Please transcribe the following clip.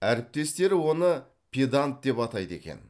әріптестері оны педант деп атайды екен